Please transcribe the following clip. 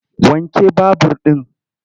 Wanke babur ɗin!